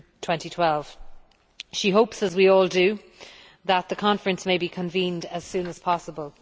2012. She hopes, as we all do, that the conference can be convened as soon as possible.